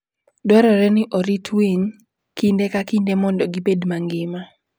Dwarore ni orit winy kinde ka kinde mondo gibed mangima.